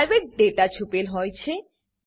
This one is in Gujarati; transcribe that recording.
પ્રાઇવેટ ડેટા છુપેલ હોય છે